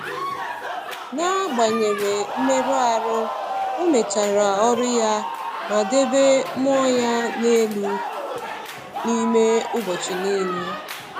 N’agbanyeghị mmerụ ahụ, ọ mechara ọrụ ya ma debe mmụọ ya elu n’ime ụbọchị niile.